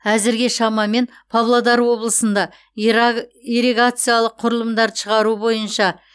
әзірге шамамен павлодар облысында ирригациялық құрылымдарды шығару бойынша